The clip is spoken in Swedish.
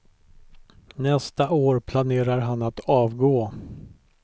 Nästa år planerar han att avgå.